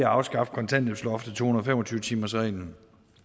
afskaffe kontanthjælpsloftet og to hundrede og fem og tyve timersreglen